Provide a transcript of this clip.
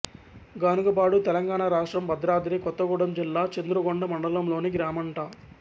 గానుగపాడు తెలంగాణ రాష్ట్రం భద్రాద్రి కొత్తగూడెం జిల్లా చంద్రుగొండ మండలంలోని గ్రామంట